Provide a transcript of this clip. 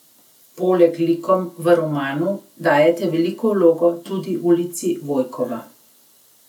Poleg likom v romanu dajete veliko vlogo tudi ulici Vojkova.